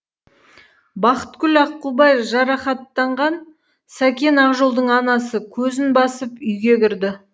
бақытгүл аққубай жарақаттанған сакен ақжолдың анасы көзін басып үйге кірді